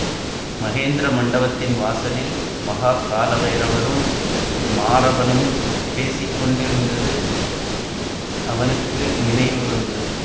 மகேந்திர மண்டபத்தின் வாசலில் மகாக் கால பைரவரும் மாரபனும் பேசி கொண்டிருந்தது அவனுக்கு நினைவு வந்தது